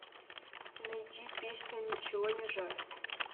найди песня ничего не жаль